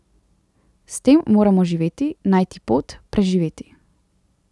S tem moramo živeti, najti pot, preživeti.